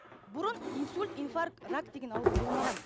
бұрын инсульт инфакт рак деген ауру болмаған